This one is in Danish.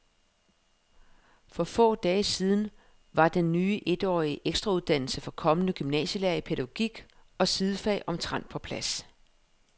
For få dage siden var den ny etårige ekstrauddannelse for kommende gymnasielærere i pædagogik og sidefag omtrent på plads.